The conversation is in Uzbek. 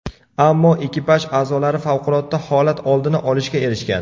Ammo ekipaj a’zolari favqulodda holat oldini olishga erishgan.